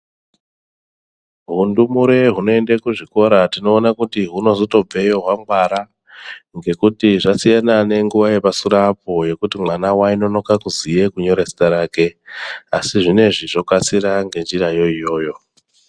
Hundumure hunoenda kuzvikora tinoona kuti hunozobvayo hwangwara ngekuti zvasiyana nenguwa yepasure apo yekuti mwana wainonoka kuziye kunyora zita rake asi zvinezvi zvokasira ngenzirayo iyoyo